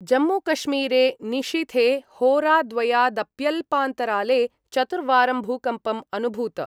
जम्मूकश्मीरे निशीथे होराद्वयादप्यल्पान्तराले चतुर्वारं भूकम्पं अनुभूत।